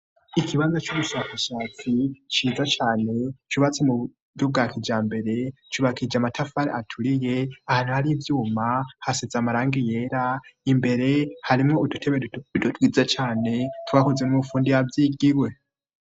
Ikibaza c'ubushakashatsi ciza cane cubatse mu buryo bwa kijambere, cubakishije amatafari aturiye, ahantu hari ivyuma hasize amarangi yera, imbere harimwo udutebe duto duto twiza cane twakozwe n'umufundi yavyigiye.